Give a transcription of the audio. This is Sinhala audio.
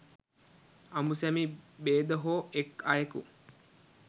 අඹුසැමි භේද හෝ එක් අයෙකු